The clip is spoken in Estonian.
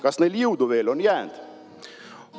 Kas neil jõudu veel on jäänd?"